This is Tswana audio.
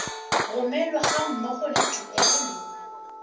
romelwa ga mmogo le tuelo